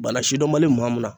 Bana sidɔn man di maa min na.